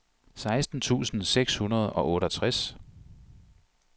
seksten tusind seks hundrede og otteogtres